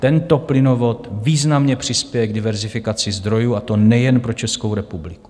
Tento plynovod významně přispěje k diverzifikaci zdrojů, a to nejen pro Českou republiku.